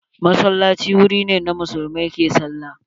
Masallaci wuri ne da muslimai ke sallah.